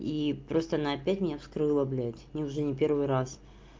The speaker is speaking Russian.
и просто она опять меня вскрыла блядь не уже не первый раз